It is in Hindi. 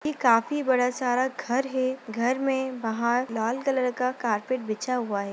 ये काफी बड़ा सारा घर है घर में बाहर लाल कलर का कारपेट बिछा हुआ है।